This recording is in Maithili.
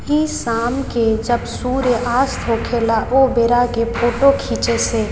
इ शाम के जब सूर्यास्त होखे ला ओय बेरा के फोटो खींचे छै।